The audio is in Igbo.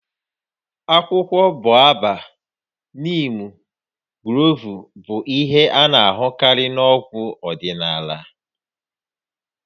Akwụkwọ Bobab, niimu, gloovu bụ ihe a na-ahụkarị na-ọgwụ ọdịnala